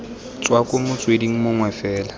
tswa ko motsweding mongwe fela